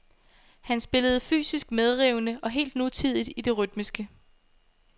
Han spillede fysisk medrivende og helt nutidigt i det rytmiske.